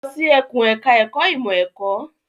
Lọ sí ẹkùn ẹ̀ka ẹ̀kó ìmọ̀ ẹ̀kọ́.